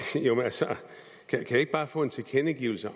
jo men altså kan jeg ikke bare få en tilkendegivelse af